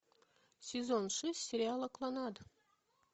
сезон шесть сериала кланнад